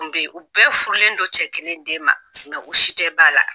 kun bɛ ye u bɛɛ furulen do cɛ kelen den ma u si tɛ ba la.